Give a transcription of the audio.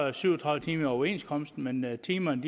er syv og tredive timer overenskomsten men timerne